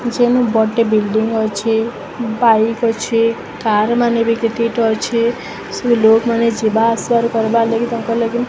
ଯେନୁ ବଡ଼ଟେ ବିଲ୍ଡିଙ୍ଗ ଅଛେ। ବାଇକ ଅଛେ। କାର ମାନେ ବି କେତେଟା ଅଛେ। ସେନୁ ଲୋକ ମାନେ ଯିବା ଆସିବାର କରିବାର ଲାଗି ତାଙ୍କର ଲାଗି --